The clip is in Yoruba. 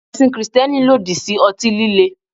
Ẹ̀sìn Kristẹni lòdì sí ọtí líle.